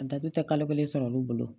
A datugu tɛ kalo kelen sɔrɔ olu bolo